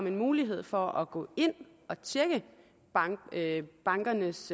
en mulighed for at gå ind og tjekke bankernes